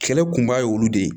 Kɛlɛ kunba ye olu de ye